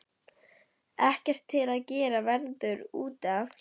Ekkert til að gera veður út af.